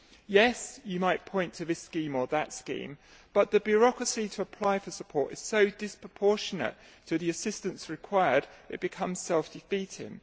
Yes, you might point to this scheme or that scheme, but the bureaucracy to apply for support is so disproportionate to the assistance required that it becomes self defeating.